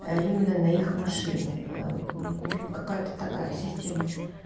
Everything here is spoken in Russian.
а именно на их машине аа ээ какая-то такая система